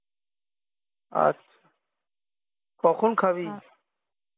আচ্ছা কখন খাবি?